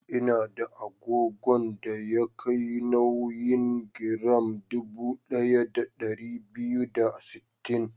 Ina da agogon da ya kai nauyin giram dubu ɗaya da ɗari biyu da sittin.